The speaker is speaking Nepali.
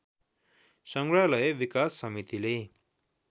संग्रहालय विकास समितिले